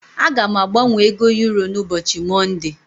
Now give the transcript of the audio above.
Aga m agbanwe ego euro n'ubochi monde.